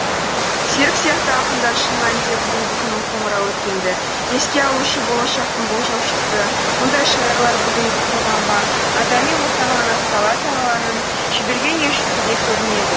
серік сияқты ақындар шын мәнінде бүгінгі күннің қоңырауы өткенді еске алушы болашақтың болжаушысы мұндай шайырлар бүгінгі қоғамға адами ортағанағыз алла тағаланың жіберген елшісіндей көрінеді